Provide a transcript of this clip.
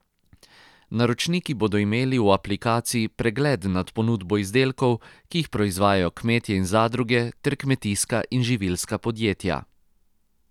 Naročniki bodo imeli v aplikaciji pregled nad ponudbo izdelkov, ki jih proizvajajo kmetje in zadruge ter kmetijska in živilska podjetja.